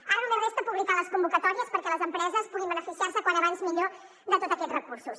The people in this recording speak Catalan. ara només resta publicar les convocatòries perquè les empreses puguin beneficiar se com més aviat millor de tots aquests recursos